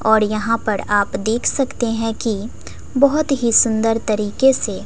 और यहां पर आप देख सकते है की बहोत ही सुन्दर तरीके से--